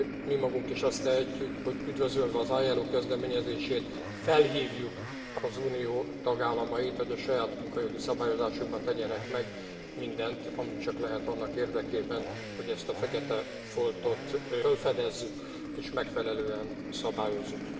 Mi magunk is azt tehetjük, hogy üdvözölve az ILO kezdeményezését, felhívjuk az Unió tagállamait, hogy a saját munkajogi szabályozásukban tegyenek meg mindent, amit csak lehet annak érdekében, hogy ezt a fekete foltot fölfedezzük és megfelelően szabályozzuk.